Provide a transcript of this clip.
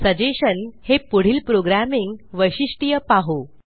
suggestion हे पुढील programming वैशिष्ट्य पाहु